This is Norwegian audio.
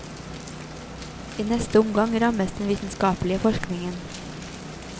I neste omgang rammes den vitenskapelige forskningen.